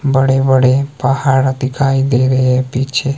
बड़े बड़े पहाड़ दिखाई दे रही है पीछे--